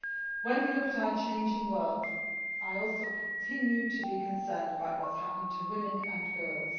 When we look at our changing world, I also continue to be concerned about what is happening to women and girls.